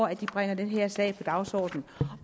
at de bringer den her sag på dagsordenen